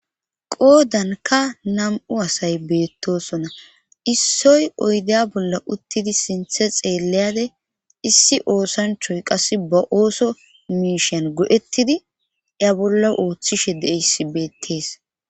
Qoodanka nam'u asay beettosona. Issoy oyidde bolla uttidi sintha xeelayida issi oosanchayi qassi ba ooso miishan go'ettidi a bolla ooththishe de'iza beettees.